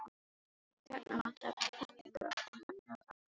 Og þarna vantar fellingu, og þarna. og þarna.